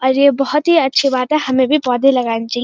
और ये बहुत ही अच्छे बात है हमें भी पौधे लगने चइये।